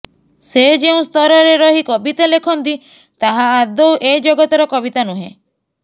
ସେ ଯେଉଁ ସ୍ତରରେ ରହି କବିତା ଲେଖନ୍ତି ତାହା ଆଦୌ ଏ ଜଗତର କବିତା ନୁହେଁ